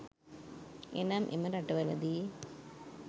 එනම් එම රටවල දී